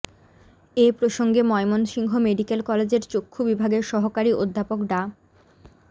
এ প্রসঙ্গে ময়মনসিংহ মেডিকেল কলেজের চক্ষু বিভাগের সহকারী অধ্যাপক ডা